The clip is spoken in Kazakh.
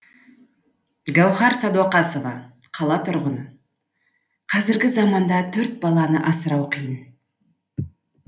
гауһар сәдуақасова қала тұрғыны қазіргі заманда төрт баланы асырау қиын